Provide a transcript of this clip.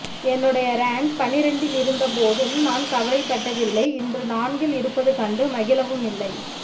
என்னுடைய ரேங் பனிரெண்டில் இருந்த போதும் நான் கவலைப் பட்டதில்லை இன்று நான்கில் இருப்பது கண்டு மகிழவும் இல்லை